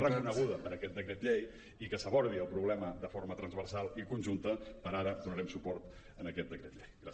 reconeguda per aquesta decret llei i que s’abordi el problema de forma transversal i conjunta per ara donarem suport a aquest decret llei